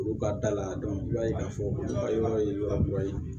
Olu ka da la i b'a ye k'a fɔ a yɔrɔ ye yɔrɔ ye